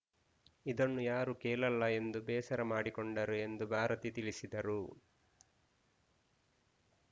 ಇದನ್ನು ಯಾರೂ ಕೇಳಲ್ಲ ಎಂದು ಬೇಸರ ಮಾಡಿಕೊಂಡರು ಎಂದು ಭಾರತಿ ತಿಳಿಸಿದರು